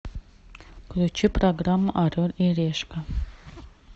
включи программу орел и решка